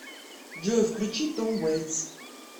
джой включи том вэйтс